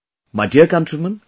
My dear countrymen,